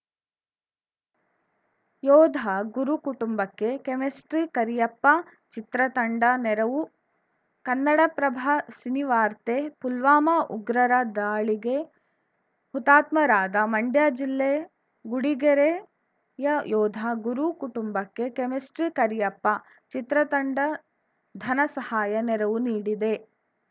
ಯೋಧ ಗುರು ಕುಟುಂಬಕ್ಕೆ ಕೆಮಿಸ್ಟ್ರಿ ಕರಿಯಪ್ಪ ಚಿತ್ರತಂಡ ನೆರವು ಕನ್ನಡಪ್ರಭ ಸಿನಿವಾರ್ತೆ ಪುಲ್ವಾಮಾ ಉಗ್ರರ ದಾಳಿಗೆ ಹುತಾತ್ಮರಾದ ಮಂಡ್ಯ ಜಿಲ್ಲೆ ಗುಡಿಗೆರೆಯ ಯೋಧ ಗುರು ಕುಟುಂಬಕ್ಕೆ ಕೆಮಿಸ್ಟ್ರಿ ಕರಿಯಪ್ಪ ಚಿತ್ರತಂಡ ಧನ ಸಹಾಯ ನೆರವು ನೀಡಿದೆ